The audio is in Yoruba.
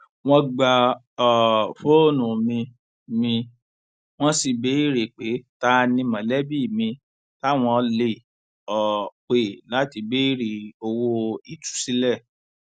wọn gba um fóònù mi mi wọn sì béèrè pé ta ni mọlẹbí mi táwọn lè um pè láti béèrè owó ìtúsílẹ